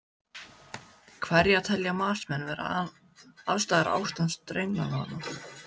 Hverjar telja matsmenn vera ástæður ástands drenlagnanna?